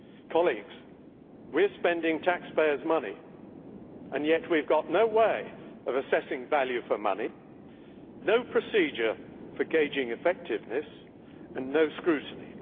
Colleagues, we are spending taxpayers' money, and yet we have no way of assessing value for money, no procedure for gauging effectiveness, and no scrutiny.